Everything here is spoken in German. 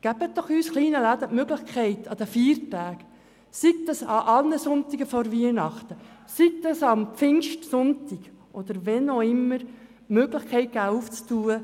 Geben Sie uns kleinen Läden die Möglichkeit, an Feiertagen – sei das an allen Sonntagen vor Weihnachten, sei das am Pfingstsonntag – unsere Geschäfte zu öffnen.